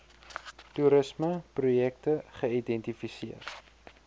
toerisme projekte geidentifiseer